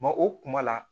o kuma la